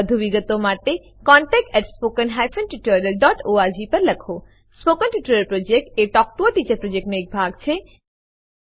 વધુ વિગતો માટે કૃપા કરી contactspoken tutorialorg પર લખો spoken tutorial project talk to a teacher પ્રોજેક્ટનો એક ભાગ છે